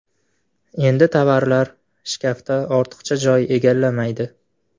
Endi tovalar shkafda ortiqcha joy egallamaydi”.